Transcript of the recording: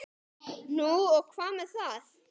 Nú og hvað með það?